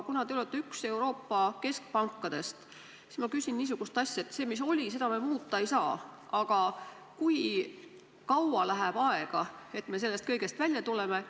Kuna Eesti Pank on aga üks Euroopa keskpankadest, siis ma küsin niisugust asja: seda, mis on olnud, me muuta ei saa, aga kui kaua läheb aega, et me sellest kõigest välja tuleksime?